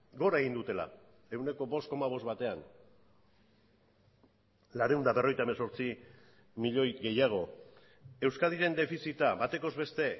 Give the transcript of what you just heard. gora egin dutela ehuneko bost koma bost batean laurehun eta berrogeita hemezortzi milioi gehiago euskadiren defizita batekoz beste